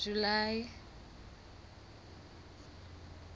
july